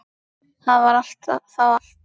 Það var þá allt.